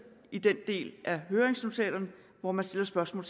i den del af høringsnotatet hvor der stilles spørgsmål